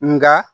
Nka